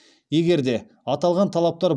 егер де аталған талаптар